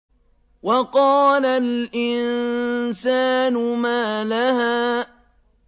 وَقَالَ الْإِنسَانُ مَا لَهَا